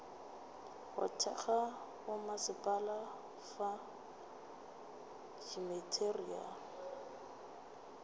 go thekga bommasepala fa dimateriale